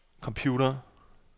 computer